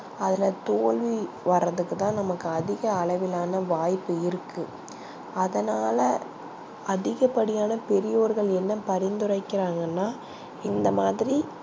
அதுல தோல்வி வரதுக்கு தா நமக்கு அதிக அளவிலான வாய்ப்பு இருக்கு அதனால அதிக படியான பெரியோர்கள் என்ன பறிந்துரைகிறாங்க னா இந்த மாதிரி